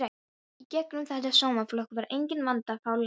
Í gegnum þetta sómafólk var enginn vandi að fá lán.